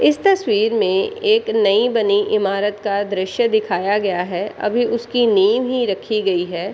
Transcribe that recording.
इस तस्वीर में एक नई बनी इमारत का दृश्य दिखाया गया है अभी उसकी नीव ही रखी गई है।